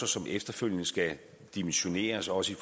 som efterfølgende skal dimensioneres også i